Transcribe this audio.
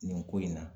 Nin ko in na